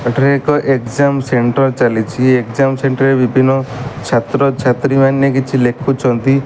ଏଠାରେ ଏକ exam centre ଚାଲିଛି ଏଗଜାମ ସେଣ୍ଟରେ ବିଭିନ୍ନ ଛାତ୍ରଛାତ୍ରୀମାନେ କିଛି ଲେଖୁଛନ୍ତି।